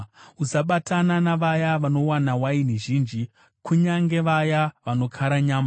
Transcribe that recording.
Usabatana navaya vanonwa waini zhinji, kunyange vaya vanokara nyama,